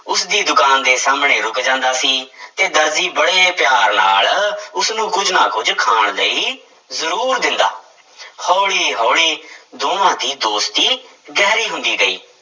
ਉਸਦੀ ਦੁਕਾਨ ਦੇ ਸਾਹਮਣੇ ਰੁੱਕ ਜਾਂਦਾ ਸੀ ਤੇ ਦਰਜੀ ਬੜੇ ਪਿਆਰ ਨਾਲ ਉਸਨੂੰ ਕੁੱਝ ਨਾ ਕੁੱਝ ਖਾਣ ਲਈ ਜ਼ਰੂਰ ਦਿੰਦਾ ਹੌਲੀ ਹੌਲੀ ਦੋਵਾਂ ਦੀ ਦੋਸਤੀ ਗਹਿਰੀ ਹੁੰਦੀ ਗਈ।